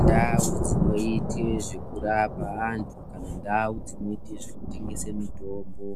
Ndau dzinoite zvekurapa antu nendau dzinoite zvekutengese mitombo,